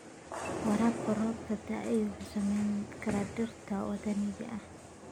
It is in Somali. Waraabka roobka da'ay wuxuu saameyn karaa dhirta waddaniga ah.